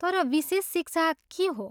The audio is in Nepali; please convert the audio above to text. तर, विशेष शिक्षा के हो?